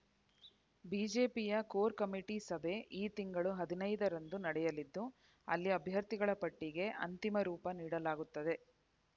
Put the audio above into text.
ಬಿಜೆಪಿಯ core committee ಸಭೆ ಈ ತಿಂಗಳ ಹದಿನೈದರಂದು ನಡೆಯಲಿದ್ದು ಅಲ್ಲಿ ಅಭ್ಯರ್ಥಿಗಳ ಪಟ್ಟಿಗೆ ಅಂತಿಮ ರೂಪ ನೀಡಲಾಗುತ್ತದೆ